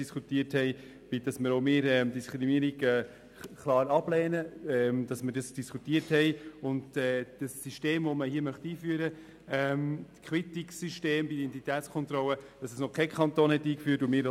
Kein Kanton hat bis jetzt ein solches Quittungssystem eingeführt, und wir wollen hier auch nicht Vorreiter sein.